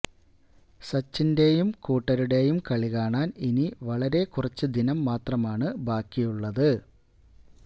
സച്ചിന്റെയും കൂട്ടരുടെയും കളികാണാന് ഇനി വളരെ കുറച്ച് ദിനമാണ് മാത്രമാണ് ബാക്കി ഉള്ളത്